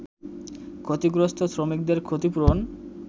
ক্ষতিগ্রস্ত শ্রমিকদের ক্ষতিপূরণ